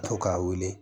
To k'a weele